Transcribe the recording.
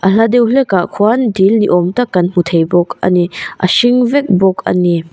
a hla deuh hlekah khuan dil ni awm tak kan hmu thei bawk a ni ba hring vek bawk a ni.